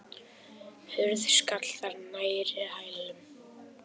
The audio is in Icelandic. Hurð skall þar nærri hælum.